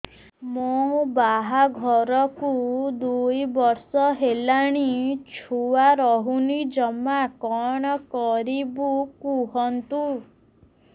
ମୋ ବାହାଘରକୁ ଦୁଇ ବର୍ଷ ହେଲାଣି ଛୁଆ ରହୁନି ଜମା କଣ କରିବୁ କୁହନ୍ତୁ